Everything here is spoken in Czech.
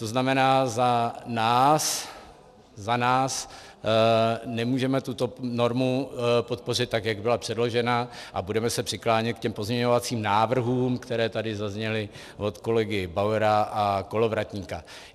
To znamená, za nás, za nás, nemůžeme tuto normu podpořit, tak jak byla předložena, a budeme se přiklánět k těm pozměňovacím návrhům, které tady zazněly od kolegy Bauera a Kolovratníka.